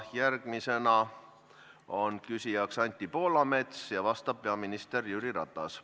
Järgmine küsija on Anti Poolamets, vastab peaminister Jüri Ratas.